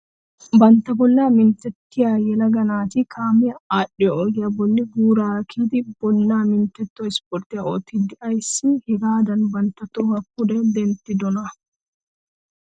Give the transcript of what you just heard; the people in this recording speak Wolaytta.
Bantta bollaa minttettiyaa yelaga naati kaamee adhiyoo ogiyaa bolli guurara kiyidi bollaa minttetto isporttiyaa oottiidi aysi hagaadan bantta tohuwaa pude denttiyoonaa?